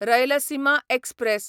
Rayalaseema express